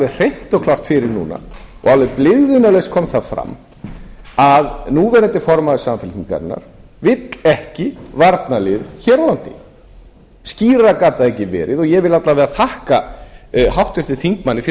hreint og klárt fyrir núna og alveg blygðunarlaust kom það fram að núverandi formaður samfylkingarinnar vill ekki varnarlið hér á landi skýrar gat það ekki verið og ég vil alla vega þakka háttvirtum þingmanni fyrir